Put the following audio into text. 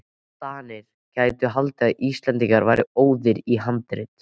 DANIR gætu haldið að Íslendingar væru óðir í handrit.